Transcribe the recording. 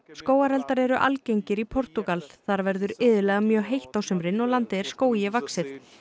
skógareldar eru algengir í Portúgal þar verður iðulega mjög heitt á sumrin og landið er skógi vaxið